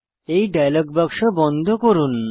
এই ডায়লগ বাক্স বন্ধ করুন